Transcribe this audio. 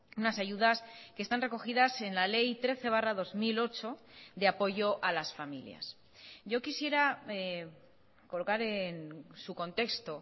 unas ayudas que están recogidas en la ley trece barra dos mil ocho de apoyo a las familias yo quisiera colocar en su contexto